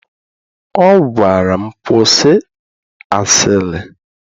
Ọ gwara m, kwụsị asịrị!